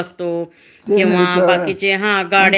आयुष्याची हीच बनून जाते म्हणजे की,